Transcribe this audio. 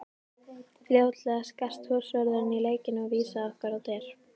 Fljótlega skarst húsvörðurinn í leikinn og vísaði okkur á dyr.